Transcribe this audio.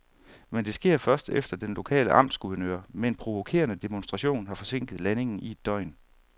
Men det sker først, efter at den lokale amtsguvernør med en provokerende demonstration har forsinket landingen i et døgn.